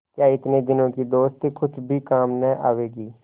क्या इतने दिनों की दोस्ती कुछ भी काम न आवेगी